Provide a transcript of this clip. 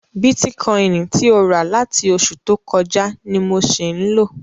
Bitikọini ti o rà ni láti oṣù tó kọjá ni mo ṣì ń lò.